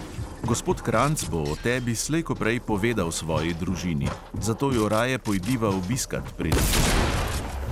Gospod kranjc bo o tebi slej ko prej povedal svoji družini, zato jo raje pojdiva obiskat, preden to stori.